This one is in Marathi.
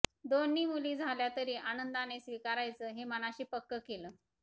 दोन्ही मुली झाल्यातरी आनंदाने स्वीकारायचं हे मनाशी पक्कं केलं